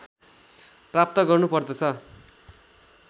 प्राप्त गर्नु पर्दछ